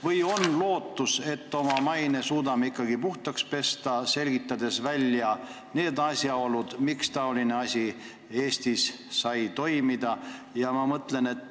Kas on lootust, et me suudame oma maine puhtaks pesta, kui oleme välja selgitanud asjaolud, kuidas taoline asi sai Eestis toimuda?